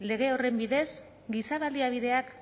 lege horren bidez giza baliabideak